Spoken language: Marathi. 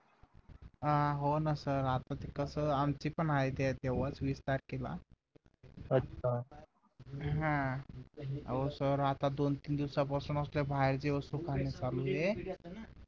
अं होना सर आता कस आमची पण आहे तेव्हाच वीस तारखेला हम्म अहो सर आता दोन तीन दिवसापासून असल्या बाहेरची वस्तू खाणं चालूये